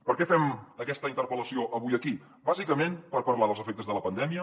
per què fem aquesta interpel·lació avui aquí bàsicament per parlar dels efectes de la pandèmia